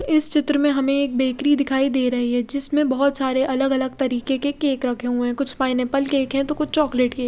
इस चित्र में हमे एक बेकरी दिखाई दे रही है जिसमे बोहोत सारे अलग अलग तरीके के केक रखे हुए हैं कुछ पाइनेपल केक हैं तो कुछ चॉकलेट केक --